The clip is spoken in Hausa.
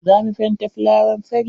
Za mu fenta fulawan fari.